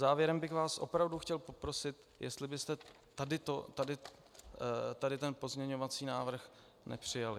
Závěrem bych vás opravdu chtěl poprosit, jestli byste tady ten pozměňovací návrh přijali.